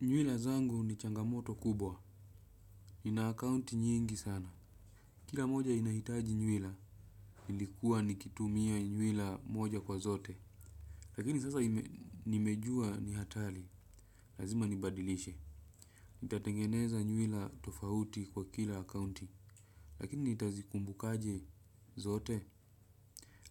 Nywele zangu ni changamoto kubwa. Nina akaunti nyingi sana. Kila moja inahitaji nywila, nilikuwa nikitumia nywila moja kwa zote. Lakini sasa nimejua ni hatari, lazima nibadilishe. Nitatengeneza nywila tofauti kwa kila akaunti, lakini nitazikumbukaje zote?